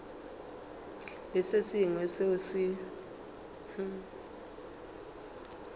le se sengwe seo se